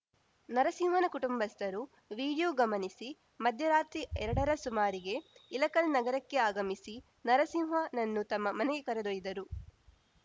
ನರಸಿಂಹನ ಕುಟುಂಬಸ್ಥರು ವಿಡಿಯೋ ಗಮನಿಸಿ ಮಧ್ಯರಾತ್ರಿ ಎರಡರ ಸುಮಾರಿಗೆ ಇಳಕಲ್‌ ನಗರಕ್ಕೆ ಆಗಮಿಸಿ ನರಸಿಂಹನನ್ನು ತಮ್ಮ ಮನೆಗೆ ಕರೆದೊಯ್ದರು